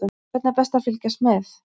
Hvernig er best að fylgjast með?